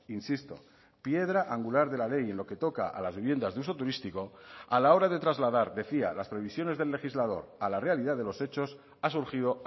insisto piedra angular de la ley en lo que toca a las viviendas de uso turístico a la hora de trasladar decía las previsiones del legislador a la realidad de los hechos ha surgido